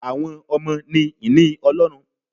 Àwọn ọmọ ni ìní Ọlọ́run